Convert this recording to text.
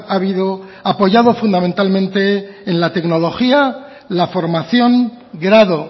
ha habido apoyado fundamentalmente en la tecnología la formación grado